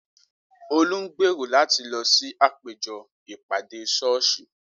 Olú ń gbèrò láti lọ sí àpéjọ ìpàdé sọ́ọ́sì.